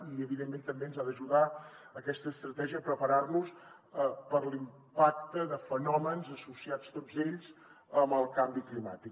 i evidentment també ens ha d’ajudar aquesta estratègia a preparar nos per l’impacte de fenòmens associats tots ells amb el canvi climàtic